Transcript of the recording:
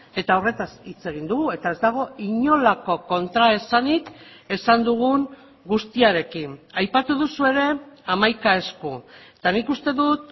eta horretaz hitz egin dugu eta ez dago inolako kontraesanik esan dugun guztiarekin aipatu duzu ere hamaika esku eta nik uste dut